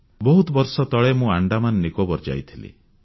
ବହୁତ ବର୍ଷ ତଳେ ମୁଁ ଆଣ୍ଡାମାନ ନିକୋବର ଯାଇଥିଲି